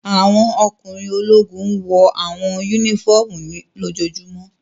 Awọn ọkunrin ologun wọ awọn unifọmú ni lojojumo